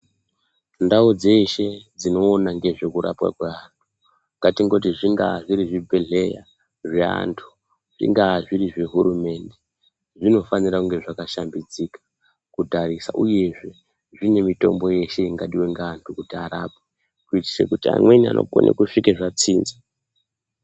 Ndau dzeshe dzinoona ngezvekurapwa kweantu ngatimboti zvingaa zvibhedhlera zvaantu, zvingava zviri zvehurumende zvinofanirwa kunge zvakashambidzika kutarisa uyezve zvinemitombo yeshe ingadiwa ngeantu kuti arapwe , kuitira kuti imweni anokona kuguma zvatsinza.